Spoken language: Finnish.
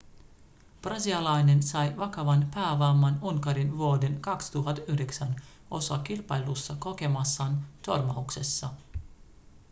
brasilialainen sai vakavan päävamman unkarin vuoden 2009 osakilpailussa kokemassaan törmäyksessä